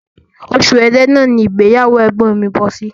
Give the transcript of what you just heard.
Oṣù ẹrẹ́nà ní ìgbéyàwó ẹ̀gbọ́n mi bọ́ sí